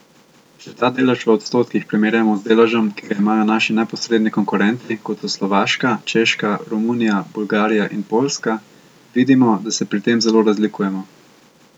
Če ta delež v odstotkih primerjamo z deležem, ki ga imajo naši neposredni konkurenti, kot so Slovaška, Češka, Romunija, Bolgarija in Poljska, vidimo, da se pri tem zelo razlikujemo.